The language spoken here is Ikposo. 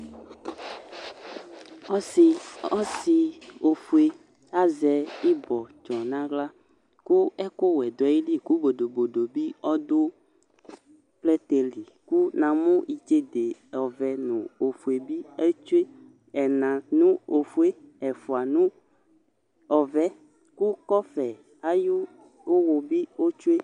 Ɔsɩ ɔsɩ ofue azɛ ɩbɔtsɔ nʋ aɣla kʋ ɛkʋwɛ dʋ ayili kʋ bodobodo bɩ dʋ plɛtɛ li Kʋ namʋ itsede ɔvɛ nʋ ofue bɩ ɛtsue, ɛna nʋ ofue yɛ, ɛfʋa nʋ ɔvɛ yɛ kʋ kɔfɛ ayʋ ʋwʋ bɩ otsue